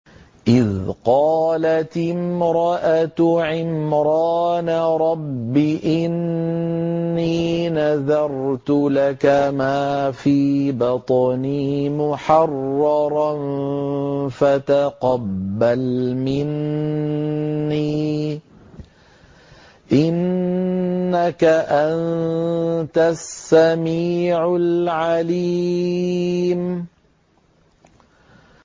إِذْ قَالَتِ امْرَأَتُ عِمْرَانَ رَبِّ إِنِّي نَذَرْتُ لَكَ مَا فِي بَطْنِي مُحَرَّرًا فَتَقَبَّلْ مِنِّي ۖ إِنَّكَ أَنتَ السَّمِيعُ الْعَلِيمُ